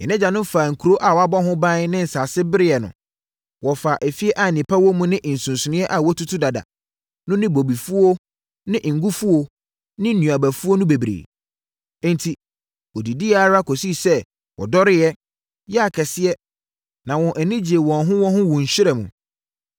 Yɛn agyanom faa nkuro a wɔabɔ ho ban ne nsase bereɛ no. Wɔfaa afie a nnepa wɔ mu ne nsuseneeɛ a wɔatutu dada no ne bobefuo ne ngofuo ne nnuabafuo no bebree. Enti, wɔdidiiɛ ara kɔsii sɛ wɔdodɔreeɛ, yɛɛ akɛseɛ, na wɔn ani gyee wɔn ho wɔ wo nhyira mu.